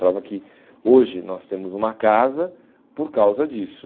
Prova que hoje nós temos uma casa por causa disso.